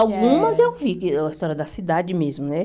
Algumas eu vi, a história da cidade mesmo, né?